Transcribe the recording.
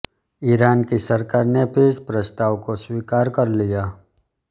Iran की सरकार ने भी इस प्रस्ताव को स्वीकार कर लिया